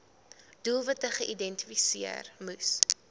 doelwitte geïdentifiseer moes